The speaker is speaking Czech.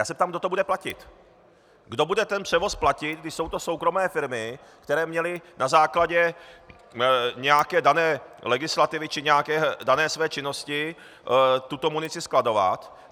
Já se ptám, kdo to bude platit, kdo bude ten převoz platit, když jsou to soukromé firmy, které měly na základě nějaké dané legislativy či nějaké své dané činnosti tuto munici skladovat.